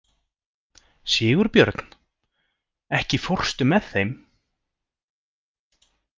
Sigurbjörn, ekki fórstu með þeim?